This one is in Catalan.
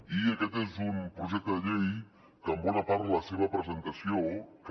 i aquest és un projecte de llei que en bona part la seva presentació que